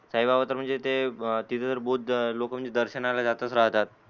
साई बाबाच म्हणजे ते तिथ तर बुद्ध लोक म्हणजे दर्शनाला जातच राहतात.